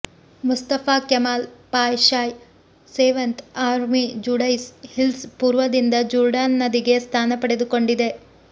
Mustafa Kemal Pasha's seventh army Judaean hills ಪೂರ್ವದಿಂದ Jordan ನದಿಗೆ ಸ್ಥಾನ ಪಡೆದುಕೊಂಡಿದೆ